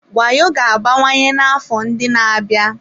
Wayo ga-abawanye n'afọ ndị na-abịa.